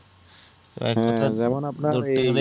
যেমন আপনার